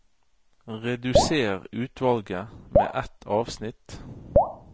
Redusér utvalget med ett avsnitt